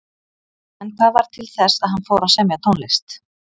En hvað varð til þess að hann fór að semja tónlist?